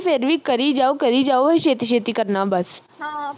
ਫਿਰ ਵੀ ਕਰੀ ਜਾਓ ਕਰੀ ਜਾਓ ਅਹੀਂ ਛੇਤੀ ਛੇਤੀ ਕਰਨਾ ਬੱਸ